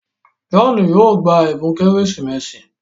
John yóò gbà ẹbùn Kérésìmesì.